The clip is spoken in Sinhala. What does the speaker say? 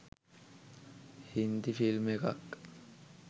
හින්දි ෆිල්ම් එකක්.